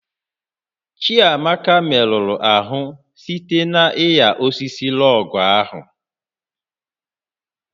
Chiamaka merụrụ ahụ site na ịnya osisi lọọgụ̀ ahụ